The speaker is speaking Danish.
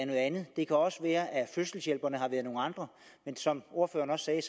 noget andet det kan også være at fødselshjælperne har været nogle andre men som ordføreren også sagde